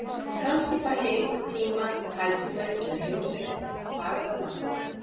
Kannski fæ ég einhvern tíma tækifæri til að heimsækja þetta fagra land.